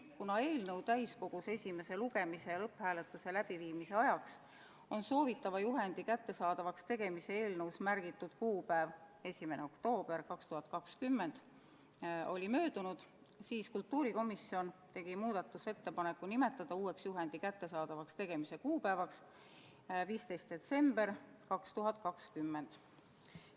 Kuna eelnõu täiskogus esimese lugemise ja lõpphääletuse läbiviimise ajaks on soovitava juhendi kättesaadavaks tegemise kuupäev – 1. oktoober 2020 – möödunud, tegi kultuurikomisjon muudatusettepaneku nimetada uueks juhendi kättesaadavaks tegemise kuupäevaks 15. detsembri 2020.